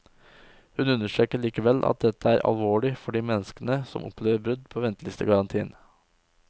Hun understreker likevel at dette er alvorlig for de menneskene som opplever brudd på ventelistegarantien.